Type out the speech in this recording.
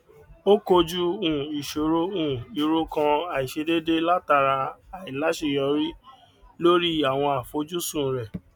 ó kojú um ìṣòro um ìrokàn àìṣe déédé látara àìláṣeyọrí lórí àwọn àfojùsùn rẹ